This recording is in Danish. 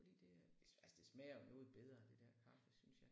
Fordi det er altså det smager jo noget bedre det der kaffe synes jeg